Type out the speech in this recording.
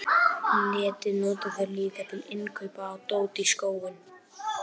netið nota þeir líka til innkaupa á dóti í skóinn